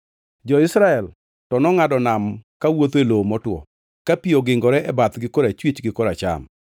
Jo-Israel to nongʼado nam kawuotho e lowo motwo, ka pi ogingore e bathgi korachwich gi koracham.